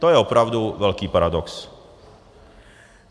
To je opravdu velký paradox.